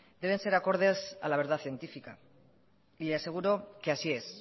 deben ser acordes a la verdad científica y le aseguro que así es